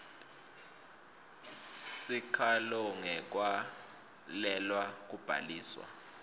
sikhalo ngekwalelwa kubhaliswa